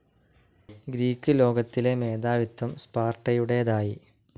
Greek ലോകത്തിലെ മേധാവിത്വം സ്പാർട്ടയുടേതായി.